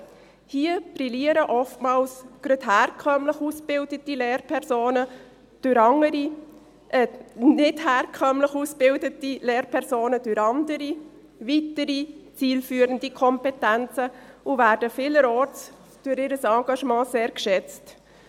– Hier brillieren oftmals gerade die nicht herkömmlich ausgebildeten Lehrpersonen durch andere und weitere zielführende Kompetenzen und werden vielerorts aufgrund ihres Engagements sehr geschätzt.